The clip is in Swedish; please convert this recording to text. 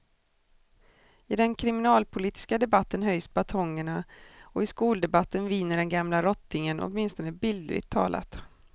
I den kriminalpolitiska debatten höjs batongerna och i skoldebatten viner den gamla rottingen, åtminstone bildligt talat.